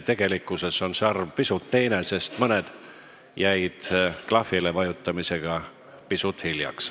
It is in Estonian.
Tegelikkuses on need arvud pisut teised, sest mõned jäid klahvile vajutamisega hiljaks.